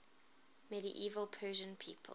medieval persian people